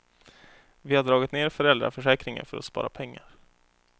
Vi har dragit ner föräldraförsäkringen för att spara pengar.